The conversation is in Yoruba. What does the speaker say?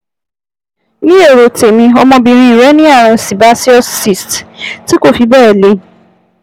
2- Ní èrò tèmi, ọmọbìnrin rẹ ní ààrùn sébéceous cyst tí kò fi bẹ́ẹ̀ le